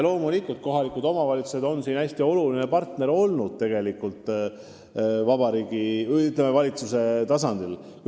Loomulikult on kohalikud omavalitsused selles ettevõtmises valitsusele hästi oluline partner.